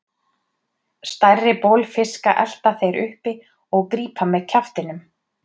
Stærri bolfiska elta þeir uppi og grípa með kjaftinum.